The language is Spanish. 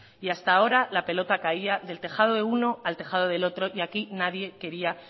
y hasta ahora la pelota caía del tejado de uno al tejado del otro y aquí nadie quería